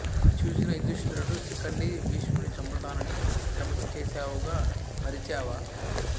ఇది చూసిన యుధిష్టరుడు శిఖండీ భీష్ముని చంపుతానని శపధం చేసావుగా మరిచావా